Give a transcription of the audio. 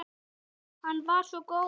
Hann var svo góður.